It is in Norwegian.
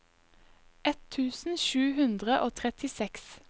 ett tusen sju hundre og trettiseks